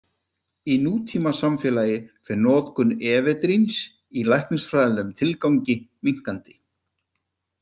Í nútímasamfélagi fer notkun efedríns í læknisfræðilegum tilgangi minnkandi.